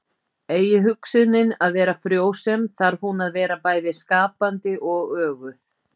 eigi hugsunin að vera frjósöm þarf hún að vera bæði skapandi og öguð